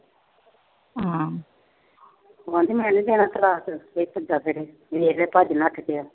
ਕਹਿੰਦੀ ਮੈਂ ਨੀ ਦੇਣਾ ਤਲਾਕ। ਇਹ ਭੱਜਿਆ ਫਿਰੇ।